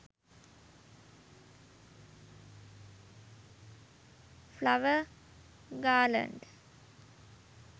flower garland